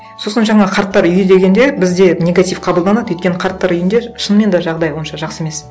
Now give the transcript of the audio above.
сосын жаңа қарттар үйі дегенде бізде негатив қабылданады өйткені қарттар үйінде шынымен де жағдай онша жақсы емес